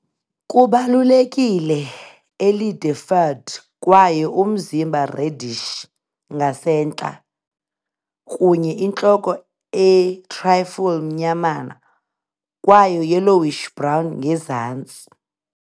kubalulekile elide-furred kwaye umzimba reddish ngasentla, kunye intloko a trifle mnyamana, kwaye yellowish-brown ngezantsi.